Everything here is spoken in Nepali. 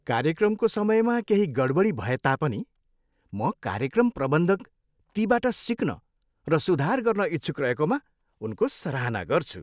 कार्यक्रमको समयमा केही गडबडी भएता पनि, म कार्यक्रम प्रबन्धक तीबाट सिक्न र सुधार गर्न इच्छुक रहेकामा उनको सराहना गर्छु।